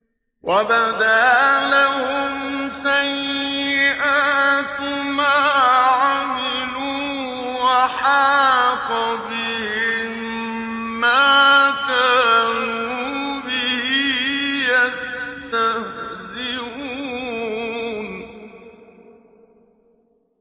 وَبَدَا لَهُمْ سَيِّئَاتُ مَا عَمِلُوا وَحَاقَ بِهِم مَّا كَانُوا بِهِ يَسْتَهْزِئُونَ